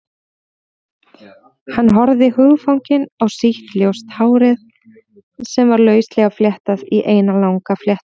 Hann horfði hugfanginn á sítt, ljóst hárið sem var lauslega fléttað í eina langa fléttu.